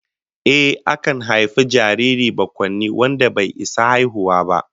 Ehh, akan haifi jariri bakwaini wanda bai gama isa haihuwa ba